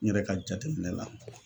N yɛrɛ ka jateminɛ la